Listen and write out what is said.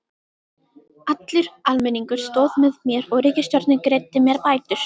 Allur almenningur stóð með mér og ríkisstjórnin greiddi mér bætur.